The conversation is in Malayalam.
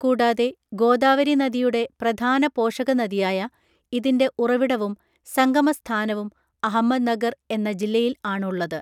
കൂടാതെ, ഗോദാവരി നദിയുടെ പ്രധാന പോഷകനദിയായ ഇതിൻ്റെ ഉറവിടവും സംഗമസ്ഥാനവും അഹമ്മദ് നഗർ എന്ന ജില്ലയിൽ ആണ് ഉള്ളത്.